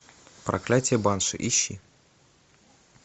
проклятие банши ищи